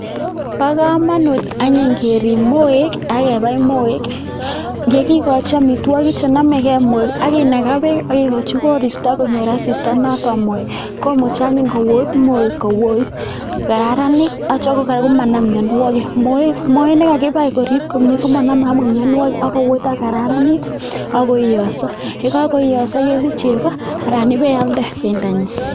Bo komonut anyun kerip moek akebai moek yekikochi amitwokik chenomekei moek akinaga bek akekochi koristo konyor asista notok moek komuchi any kout moek atya kora komanam mianwokik moek moita nekakibai akerip komye komanome mianwokik akoipko kararanit akoiyoso yekako iyoso kesich cheko anan ialde bendonyi.